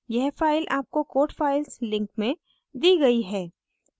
यह file आपको codes file link में दी गयी है